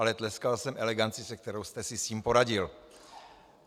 Ale tleskal jsem eleganci, se kterou jste si s tím poradil.